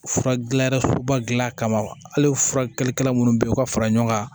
Fura gilan yɔrɔba gilan kama hali furakɛlikɛla munnu be yen u ka fara ɲɔgɔn kan